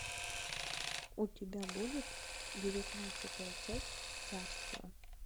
у тебя будет девятнадцатая часть царство